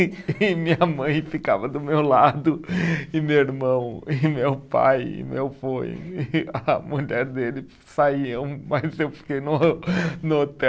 E e minha mãe ficava do meu lado, e meu irmão, e meu pai, e meu vô, e a mulher dele saíram, mas eu fiquei no no hotel